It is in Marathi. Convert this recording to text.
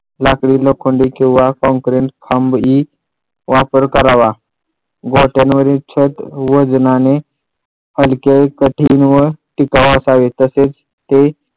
लाकडी लोखंडी किंवा काँक्रिट वापर करावा गोठ्यांवरील छत वजनाने हलके कठीण व टिकाऊ असावे तसेच ते